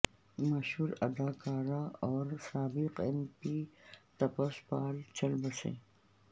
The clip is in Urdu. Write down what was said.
مشہور اداکار اور سابق ایم پی تپس پال چل بسے